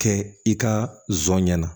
Kɛ i ka zon ɲɛna